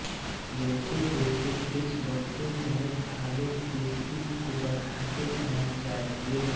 जैसेजैसे वृक्ष बढ़ते जाएँ थालों के वृत्त को बढ़ाते जाना चाहिए